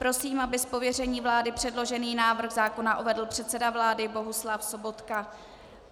Prosím, aby z pověření vlády předložený návrh zákona uvedl předseda vlády Bohuslav Sobotka.